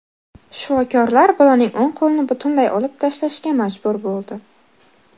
Shifokorlar bolaning o‘ng qo‘lini butunlay olib tashlashga majbur bo‘ldi.